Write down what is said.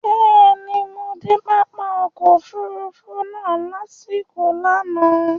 Bẹ́ẹ̀ni, mo de pápá ọkọ̀ òfurufú náà lasiko lánàá